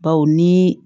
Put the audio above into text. Baw ni